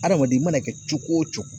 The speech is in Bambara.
Adamaden, i mana kɛ cogo o cogo.